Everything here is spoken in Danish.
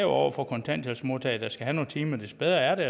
over for kontanthjælpsmodtagerne timer des bedre er det